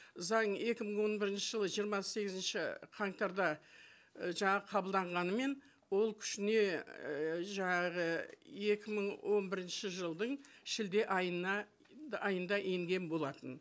заң екі мың он бірінші жылы жиырма сегізінші қаңтарда і жаңа қабылданғанымен ол күшіне ііі жаңағы екі мың он бірінші жылдың шілде айында енген болатын